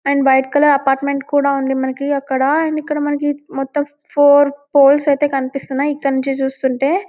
and white colour apartment కూడా ఉంది మనకు అక్కడ అండ్ ఇక్కడ మనకి మొత్తం ఫోర్ పోల్స్ కనిపిస్తునాయి ఇక్కడ నుండి చూస్తుంటే --